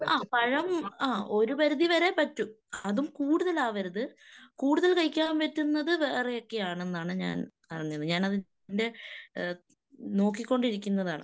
ആഹ് പഴം ആ ഒരു പരിധിവരെ പറ്റും. അതും കൂടുതൽ ആവരുത്. കൂടുതൽ കഴിക്കാൻ പറ്റുന്നത് വേറെയൊക്കെയാണെന്നാണ് ഞാൻ അറിഞ്ഞത്. ഞാൻ അതിന്റെ ഏഹ് നോക്കികൊണ്ടിരിക്കുന്നതാണ്.